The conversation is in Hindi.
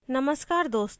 नमस्कार दोस्तों